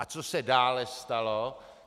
A co se dále stalo.